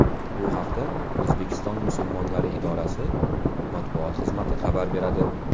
Bu haqda O‘zbekiston musulmonlari idorasi matbuot xizmati xabar beradi .